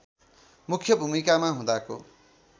मुख्य भूमिकामा हुँदाको